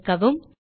சேமிக்கவும்